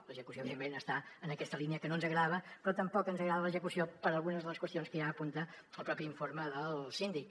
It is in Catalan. l’execució evidentment està en aquesta línia que no ens agradava però tampoc ens agrada l’execució per algunes de les qüestions que ja apunta el propi informe del síndic